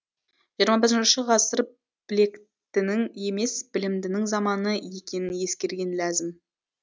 жиырма бірінші ғасыр білектінің емес білімдінің заманы екенін ескерген ләзім